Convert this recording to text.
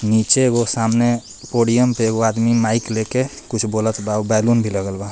नीचे एगो सामने पोडियम पे एगो आदमी माइक लेके कुछ बोलत बा बैलून भी लगल बा.